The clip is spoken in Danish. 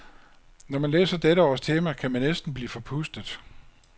Når man læser dette års tema, kan man næsten blive forpustet.